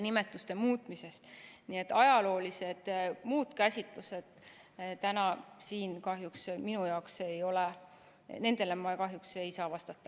Nii et muudele ajaloolistele käsitlustele täna siin ma kahjuks ei saa vastata.